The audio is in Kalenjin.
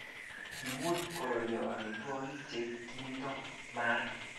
kimuch kolalyo amitwogik che kimito maat